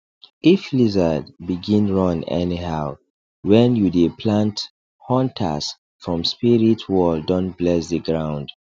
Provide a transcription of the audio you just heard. if lizard begin run anyhow when you dey plant hunters from spirit world don bless the ground